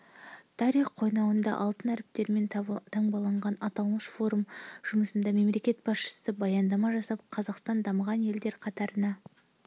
тарих қойнауында алтын әріптермен таңбаланған аталмыш форум жұмысында мемлекет басшысы баяндама жасап қазақстан дамыған елдер қатарына